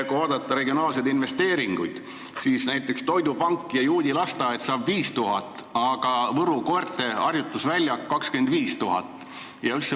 Kui vaadata regionaalseid investeeringuid, siis näiteks toidupank ja juudi lasteaed saavad 5000 eurot, aga Võru koerte harjutusväljak saab 25 000 eurot.